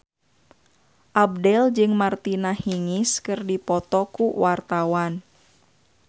Abdel jeung Martina Hingis keur dipoto ku wartawan